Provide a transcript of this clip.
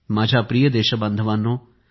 माझ्या प्रिय देशबांधवांनो